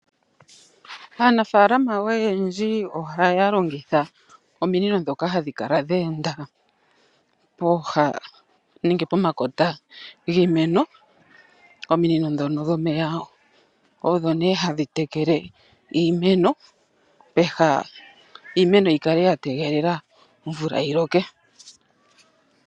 Aanafaalama oyendji ohaya longitha ominino dhoka hadhi kala dha enda pooha nenge pomakota giimeno. Ominino dhono dhomeya odho nee hadhi tekele iimeno peha iimeno oku kala yategelela omvula yiloke.